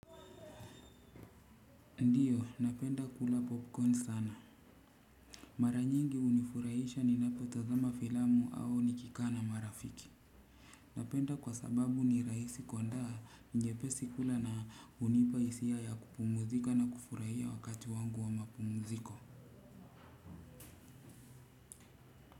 Ndiyo napenda kula popcorn sana mara nyingi hunifurahisha ninapo tazama filamu au nikikaa na marafiki napenda kwa sababu ni rahisi kuandaa nyepesi kula na hunipahisiya kupumuzika na kufurahia wakati wangu wa mapumuziko.